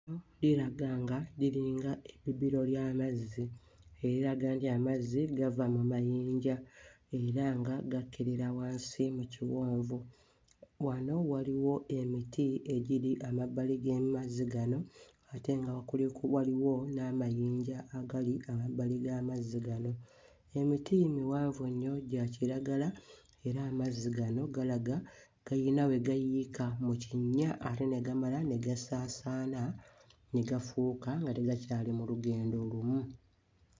Ddiraga nga liringa ebbibiro ly'amazzi eriraga nti amazzi gava mu mayinja era nga gakkirira wansi mu kiwonvu. Wano waliwo emiti egiri amabbali g'emazzi gano ate nga kuliko waliwo n'amayinja agali amabbali g'amazzi gano. Emiti miwanvu nnyo gya kiragala era amazzi gano galaga gayina we gayiika mu kinnya ate ne gamala ne gasaanaana ne gafuuka nga tegakyali mu lugendo lumu.